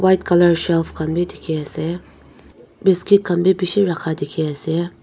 white colour shelf khan bi dikhi ase biscuit khan bi bishi rakha dikhi ase.